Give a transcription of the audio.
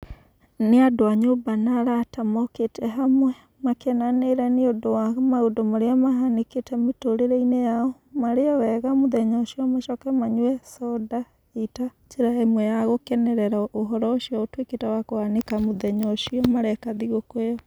Nĩ andũ a nyũmba na araata mokĩte hamwe makenanĩre nĩ ũndũ wa maũndũ marĩa mahanĩkĩte mĩtũrĩre-inĩ yao. Marĩe wega mũthenya ũcio macoke manyue soda ĩĩ ta njĩra ĩmwe ya gũkenerera ũhoro ũcio ũtũĩkĩte wa kũhanĩka mũthenya ũcio mareka thigũkũ ĩyo.